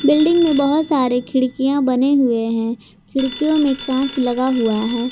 Building में बहोत सारे खिड़कियां बने हुए हैं खिड़कियों में कांच लगा हुआ है।